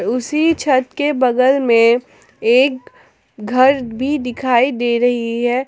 उसी छत के बगल में एक घर भी दिखाई दे रही है।